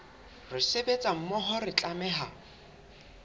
re sebetsa mmoho re tlameha